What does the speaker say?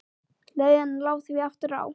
Leiðin lá því aftur á